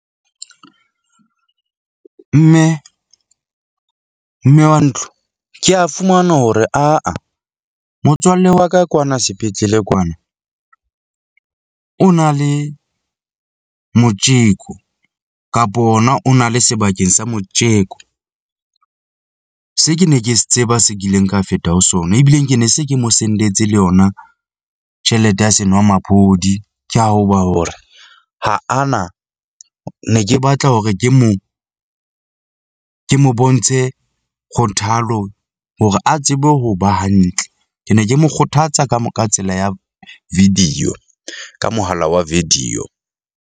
Mme, mme wa ntlo, ke a fumana hore aa motswalle wa ka kwana sepetlele kwana o na le motjeko kapo ona o na le sebakeng sa motjeko. Se ke ne ke se tseba se kileng ka feta ho sona, ebileng ke ne se ke mo sendetse le yona tjhelete ya senwamaphodi, ke ha e ba hore ha ana. Ne ke batla hore ke mo ke mo, ke mo bontshe kgothalo hore a tsebe ho ba hantle. Ke ne ke mo kgothatsa ka ka tsela ya video ka mohala wa video.